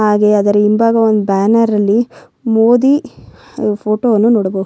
ಹಾಗೆ ಅದರ ಹಿಂಭಾಗ ಒಂದು ಬ್ಯಾನರ್ ಅಲ್ಲಿ ಮೋದಿ ಫೋಟೋ ವನ್ನು ನೋಡಬಹುದು .